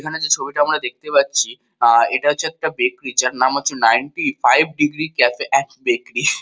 এখানে যে ছবিটা আমরা দেখতে পাচ্ছি আর এটা হচ্ছে বেকরি যার নাম হচ্ছে ninety five degree cafe and bakery.